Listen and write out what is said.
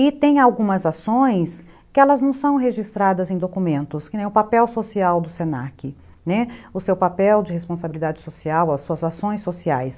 E tem algumas ações que elas não são registradas em documentos, que nem o papel social do se na que, né, o seu papel de responsabilidade social, as suas ações sociais.